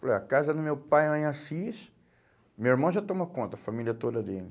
Falei, a casa do meu pai é lá em Assis, meu irmão já tomou conta, a família toda dele.